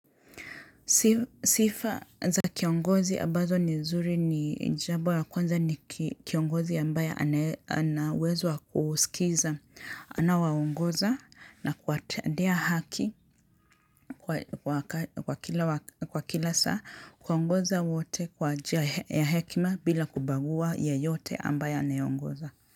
Sifa za kiongozi ambazo ni nzuri ni jambo ya kwanza ni kiongozi ambaye anawezwa kusikiza anao waongoza na kuwatendea haki kwa kila saa, kuongoza wote kwa njia ya hekima bila kubagua yeyote ambaye anayeongoza.